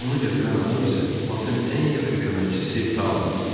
Onu gətirən adam isə Batın ən yaxşı köməkçisi Tau idi.